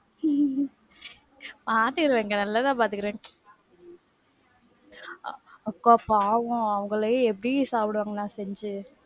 பாத்துக்குறேன் அக்கா, நல்லா தான் பாத்துக்குறேன். அக்கா பாவம் அவங்களே எப்டி சாப்பிடுவாங்க நான் செஞ்சி,